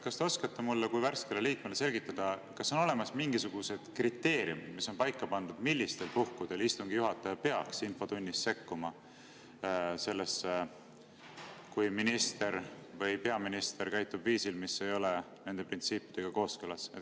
Kas te oskate mulle kui värskele liikmele selgitada, kas on olemas mingisugused kriteeriumid, millega on paika pandud, millistel puhkudel istungi juhataja peaks infotunnis sekkuma, kui minister või peaminister käitub viisil, mis ei ole nende printsiipidega kooskõlas.